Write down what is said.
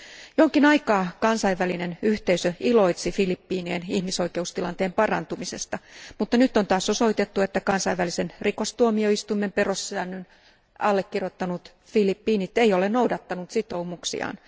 Jonkin aikaa kansainvälinen yhteisö iloitsi Filippiinien ihmisoikeustilanteen parantumisesta, mutta nyt on taas osoitettu, että kansainvälisen rikostuomioistuimen perussäännön allekirjoittanut Filippiinit ei ole noudattanut sitoumuksiaan.